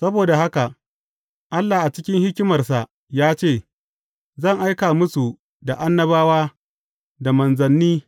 Saboda haka, Allah a cikin hikimarsa ya ce, Zan aika musu da annabawa da manzanni.